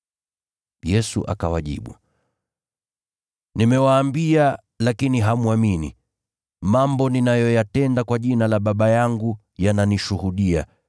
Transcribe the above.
Yesu akawajibu, “Nimewaambia, lakini hamwamini. Mambo ninayoyatenda kwa jina la Baba yangu yananishuhudia.